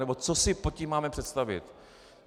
Nebo co si pod tím máme představit.